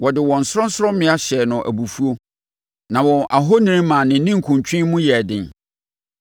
Wɔde wɔn sorɔnsorɔmmea hyɛɛ no abufuo na wɔn ahoni maa ne ninkuntwe mu yɛɛ den.